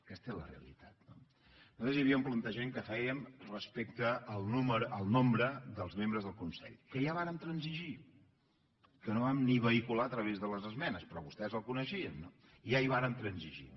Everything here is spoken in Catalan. aquesta és la realitat no llavors hi havia un plantejament que fèiem respecte al nombre dels membres del consell que ja vàrem transigir que no vam ni vehicular a través de les esmenes però vostès el coneixien no ja hi vàrem transigir